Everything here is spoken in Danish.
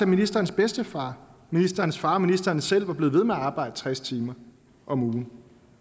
ministerens bedstefar ministerens far og ministeren selv var blevet ved med at arbejde tres timer om ugen